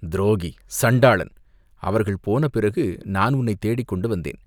துரோகி, சண்டாளன், அவர்கள் போன பிறகு நான் உன்னைத் தேடிக் கொண்டு வந்தேன்.